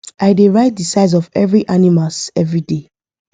i dey write the size of every animals everyday